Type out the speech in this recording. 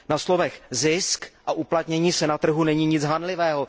Na slovech zisk a uplatnění se na trhu není nic hanlivého.